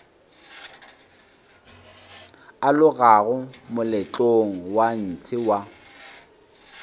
alogago moletlong wa ntshe wa